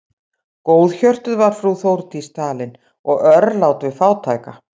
Góðhjörtuð var frú Þórdís talin og örlát við fátæka.